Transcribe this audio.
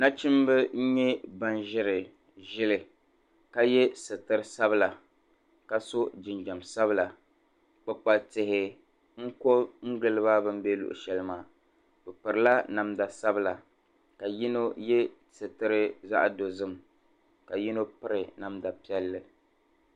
Nachimba nyɛ ban ʒiri ʒili ka ye suturi sabila ka su'jinjɛm sabila kpikpalli tihi kɔ giliba bɛ lɔɣi shɛli maa pirila namda sabila ka yino ye suturi zaɣ'dozim ka yino piri namda piɛlli.